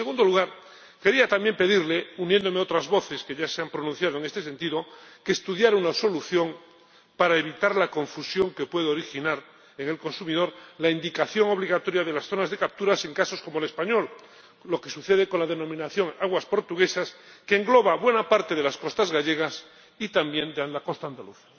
Y en segundo lugar, quería también pedirle, uniéndome a otras voces que ya se han pronunciado en este sentido, que estudiara una solución para evitar la confusión que puede originar en el consumidor la indicación obligatoria de las zonas de captura en casos como el español, lo que sucede con la denominación de aguas portuguesas, que engloba buena parte de las costas gallegas y también de la costa andaluza.